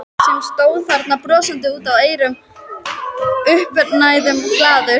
Sem stóð þarna brosandi út að eyrum, uppnæmur og glaður.